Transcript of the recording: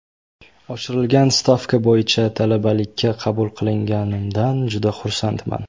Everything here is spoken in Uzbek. Oshirilgan stavka bo‘yicha talabalikka qabul qilinganimdan juda xursandman.